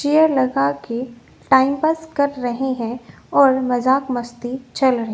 Chair लगा के time pass कर रहे हैं और मजाक मस्ती भी चल रही हैं।